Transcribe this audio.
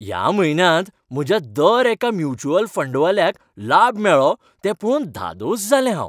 ह्या म्हयन्यांत म्हज्या दर एका म्युच्युअल फंडवाल्याक लाब मेळ्ळो तें पळोवन धादोस जालें हांव.